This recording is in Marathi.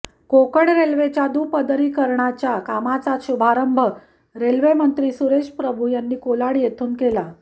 कोकण रेल्वेच्या दुपरीकरणाच्या कामाचा शुभारंभ रल्वे मंत्री सुरेश प्रभू यांनी कोलाड येथून केला